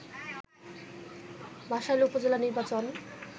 বাসাইল উপজেলা নির্বাচন